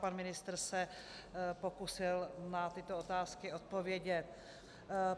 Pan ministr se pokusil na tyto otázky odpovědět.